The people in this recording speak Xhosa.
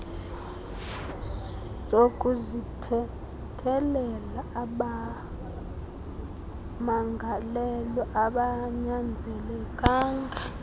sokuzithethelela abamangalelwa abanyanzelekanga